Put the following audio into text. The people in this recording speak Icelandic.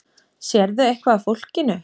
Sérðu eitthvað af fólkinu?